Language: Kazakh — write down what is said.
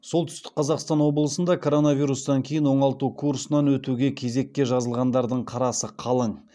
солтүстік қазақстан облысында коронавирустан кейін оңалту курсынан өтуге кезекке жазылғандардың қарасы қалың